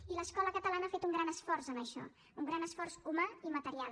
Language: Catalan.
i l’escola catalana ha fet un gran esforç en això un gran esforç humà i material